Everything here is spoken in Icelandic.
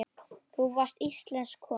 Þú varst íslensk kona.